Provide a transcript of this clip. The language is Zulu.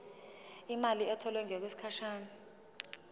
imali etholwe ngokwesigatshana